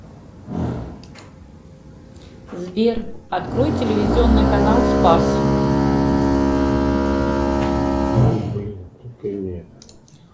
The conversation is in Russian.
сбер открой телевизионный канал спас